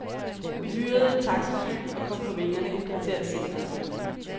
Vi hyrede et taxifly, og kom på vingerne et kvarter senere.